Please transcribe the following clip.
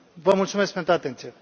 Vă mulțumesc pentru atenție.